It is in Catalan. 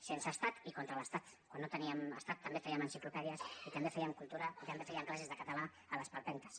sense estat i contra l’estat quan no teníem estat també fèiem enciclopèdies i també fèiem cultura i també fèiem classes de català a les palpentes